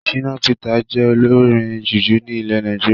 Shina Peters jẹ olórin jùjú ní ilẹ̀ Nàìjíríà